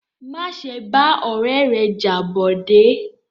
Má ṣe bá ọ̀rẹ́ rẹ jà Bọ̀dé!